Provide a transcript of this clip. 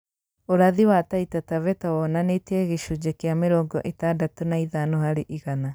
Ũrathi wa Taita Taveta wonanĩtie gicunjĩ kĩa mĩrongo ĩtandatũ na ithano harĩ igana